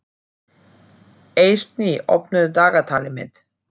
Eirný, opnaðu dagatalið mitt.